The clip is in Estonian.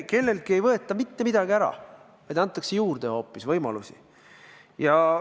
Kelleltki ei võeta mitte midagi ära, vaid antakse hoopis võimalusi juurde.